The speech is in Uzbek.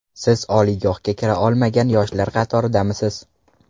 Siz oliygohga kira olmagan yoshlar qatoridamisiz?